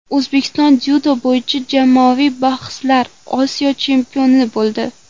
O‘zbekiston dzyudo bo‘yicha jamoaviy bahslarda Osiyo chempioni bo‘ldi.